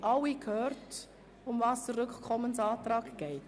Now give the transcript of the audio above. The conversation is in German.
Haben alle gehört, worum es sich bei diesem Rückkommensantrag handelt?